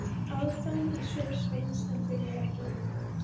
Aðdáun í svip Sveins en þau voru ekki ein.